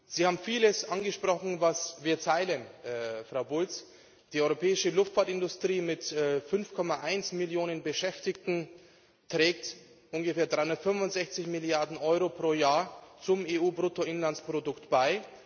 Sie haben vieles angesprochen, was wir teilen, Frau Bulc Die europäische Luftfahrtindustrie mit 5,1 Millionen Beschäftigten trägt ungefähr 365 Milliarden Euro pro Jahr zum EU Bruttoinlandsprodukt bei.